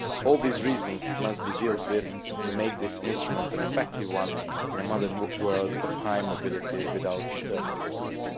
All these reasons must be dealt with to make this instrument an effective one in a modern world of high mobility without internal borders.